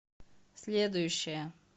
следующая